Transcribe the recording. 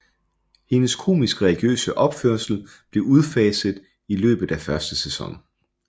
Hendes komiske religiøse opførsel blev udfaset i løbet af første sæson